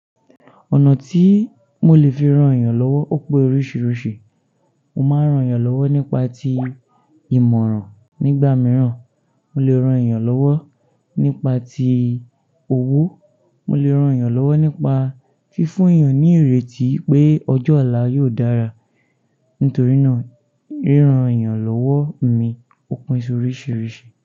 Ọ̀nà tí mo lè fi ran èèyàn lọ́wọ́ ó pe oríṣìíríṣìí. Mo máa ń ran èèyàn lọ́wọ́ nípa ti ìmọ̀ràn nígbà mìíràn mo lè ran èèyàn lọ́wọ́ nípa ti òwú, mo lè rán èèyàn lọ́wọ́ nípa fífún èèyàn ní ìrètí pé ọjọ́ ọ̀la yóò dára. Nítorí náà, ríran èèyàn lọ́wọ́ mi ó pín si oríṣìíríṣìí.